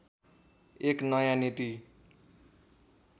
एक नयाँ नीति